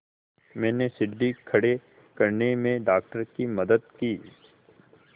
मैंने सीढ़ी खड़े करने में डॉक्टर की मदद की